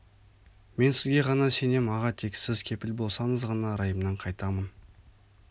мен сізге ғана сенем аға тек сіз кепіл болсаңыз ғана райымнан қайтамын